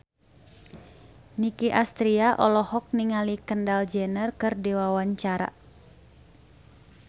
Nicky Astria olohok ningali Kendall Jenner keur diwawancara